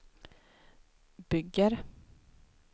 bygger